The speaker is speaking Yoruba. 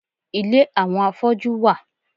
Ile àwọn afọ́jú wà.